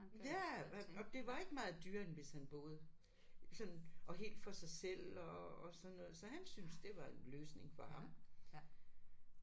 Ja og og det var ikke meget dyrere end hvis han boede sådan og helt for sig selv og og sådan noget så han syntes det var en løsning for ham